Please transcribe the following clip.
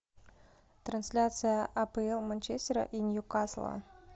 трансляция апл манчестера и ньюкасла